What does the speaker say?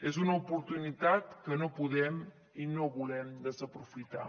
és una oportunitat que no podem i no volem desaprofitar